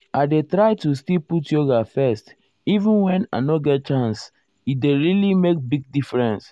i dey tro to still put yoga first even wen i nor get chance e dey really make big difference.